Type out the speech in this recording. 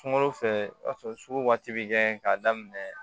Sunkalo fɛ o b'a sɔrɔ sugu waati bɛ kɛ k'a daminɛ